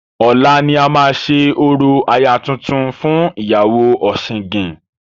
Ọ̀la ni a máa ṣe orò aya tuntun fún ìyàwó ọ̀sìngìn.